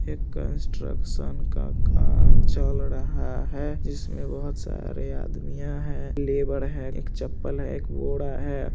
एक कन्स्ट्रक्शन का काम चल रहा है जिसमे बहुत सारे आदमिया है लेबर है एक चप्पल है एक घोड़ा है।